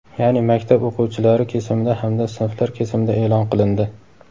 ya’ni maktab o‘quvchilari kesimida hamda sinflar kesimida e’lon qilindi.